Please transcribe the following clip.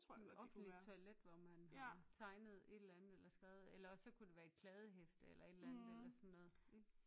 Sådan et offentligt toilet hvor man har tegnet et eller andet eller skrevet eller også så kunne det være et kladdehæfte eller et eller andet eller sådan noget